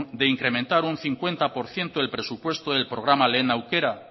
de incrementar un cincuenta por ciento el presupuesto del programa lehen aukera